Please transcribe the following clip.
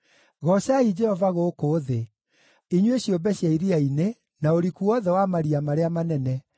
Goocai Jehova gũkũ thĩ, inyuĩ ciũmbe cia iria-inĩ, na ũriku wothe wa maria marĩa manene,